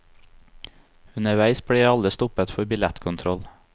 Underveis blir alle stoppet for billettkontroll.